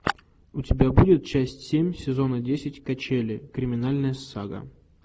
у тебя будет часть семь сезона десять качели криминальная сага